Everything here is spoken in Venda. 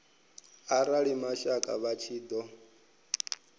arali mashaka vha tshi ṱo